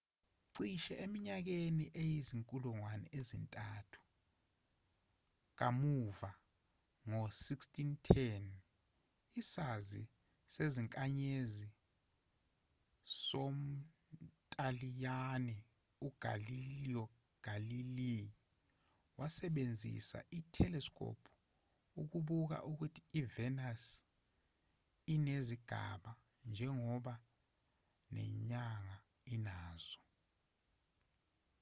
cishe eminyakeni eyizinkulungwane ezintathu kamuva ngo-1610 isazi sezinkanyezi somntaliyane ugalileo galilei wasebenzisa i-telescope ukubuka ukuthi ivenus inezigaba njengoba nenyanga inazo